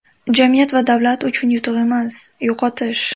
Jamiyat va davlat uchun yutuq emas, yo‘qotish.